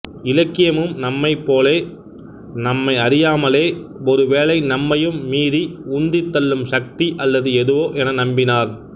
இலக்கியமும் நம்மைப் போல நம்மையறியாமலே ஒருவேளை நம்மையும் மீறி உந்தித் தள்ளும் சக்தி அல்லது எதுவோ என நம்பினார்